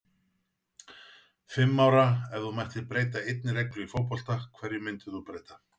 Fimm ára Ef þú mættir breyta einni reglu í fótbolta, hverju myndir þú breyta?